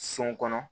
So kɔnɔ